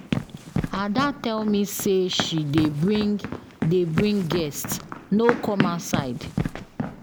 Ada tell me say she dey bring dey bring guests, no come outside